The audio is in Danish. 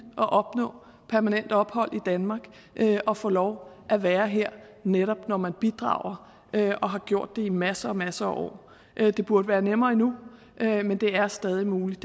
at opnå permanent ophold i danmark og få lov at være her netop når man bidrager og har gjort det i masser og masser af år det burde være nemmere endnu men det er stadig muligt